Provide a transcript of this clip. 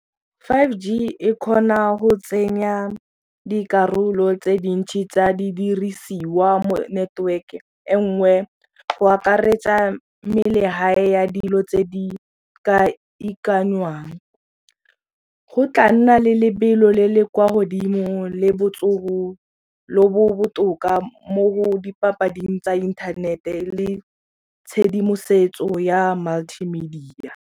five G e kgona go tsenya dikarolo tse dintsi tsa di dirisiwa mo network-e e nngwe go akaretsa ya dilo tse di ka ikanngwang. Go tla nna le lebelo le le kwa godimo le botsogo lo bo botoka mo dipapading tsa inthanete le tshedimosetso ya multi media.